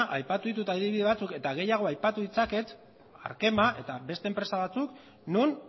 aipatu ditut adibide batzuk eta gehiago aipatu ditzaket arkema eta beste enpresa batzuk non